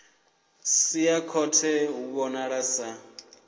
sia khothe hu vhonala sa